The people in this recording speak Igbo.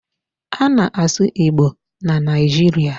A na-asụ Igbo na Nigeria.